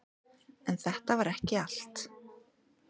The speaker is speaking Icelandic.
En þetta var ekki allt.